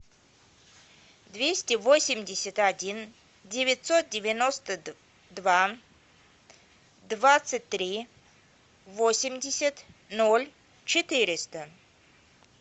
двести восемьдесят один девятьсот девяносто два двадцать три восемьдесят ноль четыреста